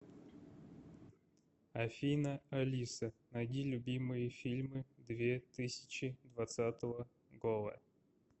афина алиса найди любимые фильмы две тысячи двацатого гола